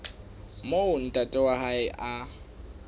moo ntate wa hae a